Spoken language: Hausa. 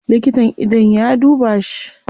Likitan idon ya duba shi